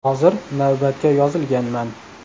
Hozir navbatga yozilganman.